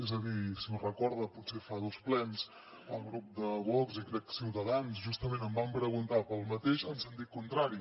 és a dir si ho recorda potser fa dos plens el grup de vox i crec que ciutadans justament em van preguntar pel mateix en sentit contrari